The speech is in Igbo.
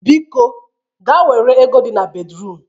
Biko gaa were ego dị na bedruum